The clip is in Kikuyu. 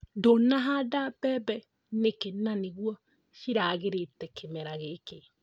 Ndũnahanda mbembe nĩkĩĩ na nĩguo ciagĩrĩte kĩmera gĩkĩ?